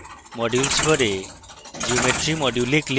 modules bar geometry module এ click করুন